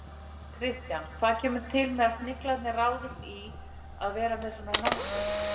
Kristján, hvað kemur til að Sniglarnir ráðist í að vera með svona námskeið?